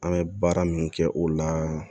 An bɛ baara min kɛ o la